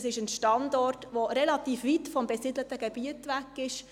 Es ist ein Standort, der relativ weit vom besiedelten Gebiet weg ist.